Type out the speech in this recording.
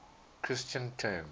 christian terms